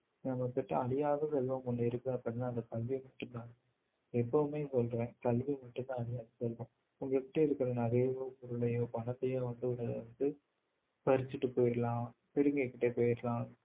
நம்ம கிட்ட அழியாத செல்வம் ஒண்ணு இருக்கு அப்படின்னா அது கல்வி மட்டும்தான் எப்பவுமே சொல்றேன் கல்வி மட்டும்தான் அழியாத செல்வம் உங்க கிட்ட இருக்கிற நகையோ பொருளையோ பணத்தையோ வந்து வந்து பறிச்சுட்டு போயிடலாம் பிடுங்கிகிட்டு போயிடலாம்